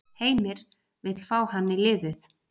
Heimir vill fá hann í liðið.